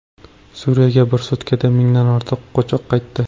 Suriyaga bir sutkada mingdan ortiq qochoq qaytdi.